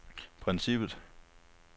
princippet